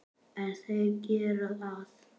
En þeir gera það.